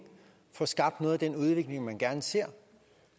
får skabt noget af den udvikling man gerne ser